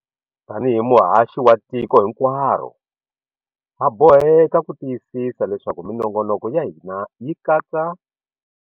Tanihi muhaxi wa tiko hinkwaro, ha boheka ku tiyisisa leswaku minongonoko ya hina yi katsa.